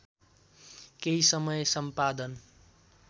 केही समय सम्पादन